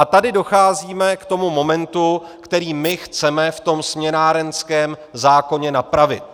A tady docházíme k tomu momentu, který my chceme v tom směnárenském zákoně napravit.